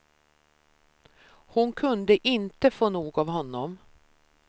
Hon kunde inte få nog av honom.